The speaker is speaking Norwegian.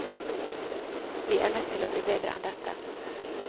Vi er nødt til å bli bedre enn dette.